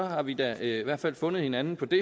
har vi da i hvert fald fundet hinanden på det